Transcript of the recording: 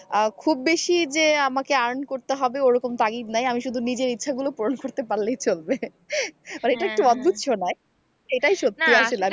আহ খুব বেশি যে আমাকে earn করতে হবে ওরকম তাগিদ নাই আমি শুধু নিজের ইচ্ছে গুলো পূরণ করতে পারলেই চলবে এটা একটু অদ্ভুত শোনাই এটাই সত্যি আসলে।